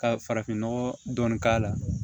Ka farafinnɔgɔ dɔɔni k'a la